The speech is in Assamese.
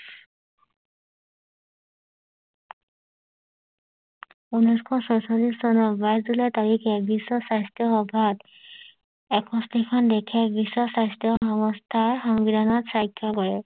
ঊনৈশ ছয়চল্লিশ চনৰ বাইশ জুলাই তাৰখে বিশ্ব স্বাস্থ্য সভাত এষষ্ঠি খন দেশে বিশ্ব স্বাস্থ্য সংস্থা সংবিধানত সাক্ষৰ কৰে